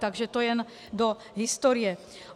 Takže to jen do historie.